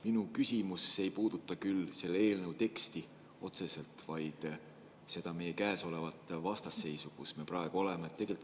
Minu küsimus ei puuduta otseselt selle eelnõu teksti, vaid seda vastasseisu, mis meil praegu on.